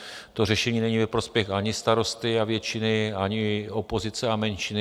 To řešení není ve prospěch ani starosty a většiny, ani opozice a menšiny.